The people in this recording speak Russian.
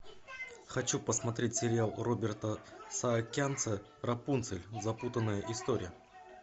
хочу посмотреть сериал роберта саакянца рапунцель запутанная история